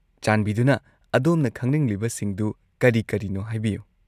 ꯆꯥꯟꯕꯤꯗꯨꯅ ꯑꯗꯣꯝꯅ ꯈꯪꯅꯤꯡꯂꯤꯕꯁꯤꯡꯗꯨ ꯀꯔꯤ-ꯀꯔꯤꯅꯣ ꯍꯥꯏꯕꯤꯌꯨ ꯫